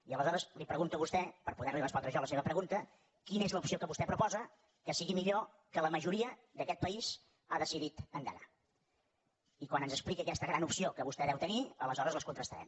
i aleshores li pregunto a vostè per poder li respondre jo la seva pregunta quina és l’opció que vostè proposa que sigui millor que el que la majoria d’aquest país ha decidit endegar i quan ens expliqui aquesta gran opció que vostè deu tenir aleshores les contrastarem